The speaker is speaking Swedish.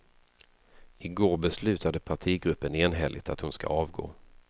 I går beslutade partigruppen enhälligt att hon ska avgå.